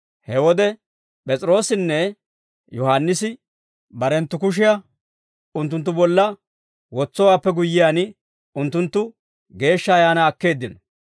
He wode P'es'iroossinne Yohaannisi barenttu kushiyaa unttunttu bolla wotsowaappe guyyiyaan unttunttu Geeshsha Ayaanaa akkeeddino.